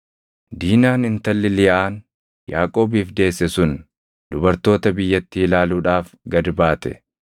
Diinaan intalli Liyaan Yaaqoobiif deesse sun dubartoota biyyattii ilaaluudhaaf gad baate.